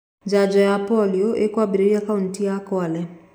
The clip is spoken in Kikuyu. Njanjo ya polio ĩĩkwambĩrĩria kaunti ya Kwale